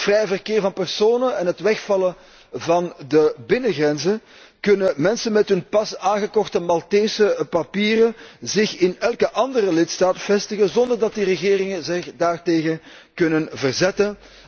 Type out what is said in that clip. Door het vrije verkeer van personen en het wegvallen van de binnengrenzen, kunnen mensen met hun pas aangekochte Maltese papieren zich in elke andere lidstaat vestigen zonder dat die regeringen zich daartegen kunnen verzetten.